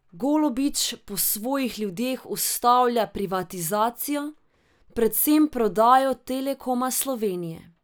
Golobič po svojih ljudeh ustavlja privatizacijo, predvsem prodajo Telekoma Slovenije.